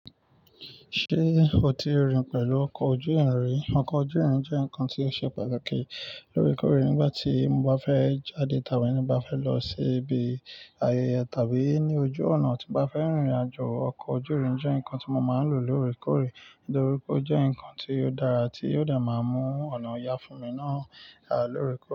Ṣé o ti rìn pẹ̀lú ọkọ̀ ojú irin rí? Ọkọ̀ ojú irin jẹ́ nǹkan tí ó ṣe pàtàkì lórí kórìí. Nígbà tí mo bá fẹ́ jáde tàbí ní bá fẹ́ lọ sí ibi ayẹyẹ tàbí ní ojú ọ̀nà tí bá fẹ́ rìnrìn àjò, ọkọ̀ ojú irin jẹ́ nǹkan tí mo máa ń lò lórí kórìí nítorí pé ó jẹ́ nǹkan tí ó dára tí yóò dẹ̀ máa mú ọ̀nà ìyà fún mi náà dá lórí kórìí.